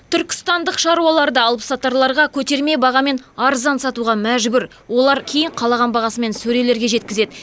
түркістандық шаруалар да алыпсатарларға көтерме бағамен арзан сатуға мәжбүр олар кейін қалаған бағасымен сөрелерге жеткізеді